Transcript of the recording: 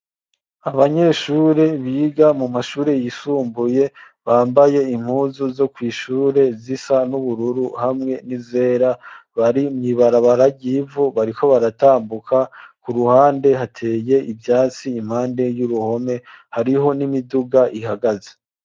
Abanyeshure biga mu mashure yisumbuye bambaye impuzu zo kw'ishure zisa n'ubururu hamwe n'izera bari mw'ibarabara ry'ivu bariko baratambuka ku ruhande hateye ivyatsi impande y'uruhome hariho n'imiduga ihagaze.